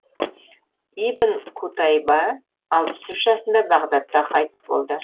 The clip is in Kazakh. ибн қутайба алпыс үш жасында бағдатта қайтыс болды